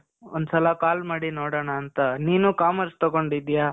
ಒಂದ್ಸಲ call ಮಾಡಿ ನೋಡೋಣಾಂತ. ನೀನು commerce ತಗೊಂಡಿದ್ಯ?